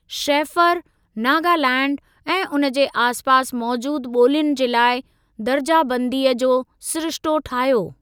Shaffer, Nagaland ऐं उन जे आस पास मौजूदु ॿोलियुनि जे लाइ दर्जाबंदीअ जो सिरिश्तो ठाहियो।